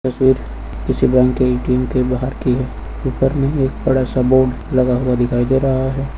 फिर किसी बैंक के ए_टी_एम के बाहर की ऊपर में एक बड़ा सा बोर्ड लगा हुआ दिखाई दे रहा है।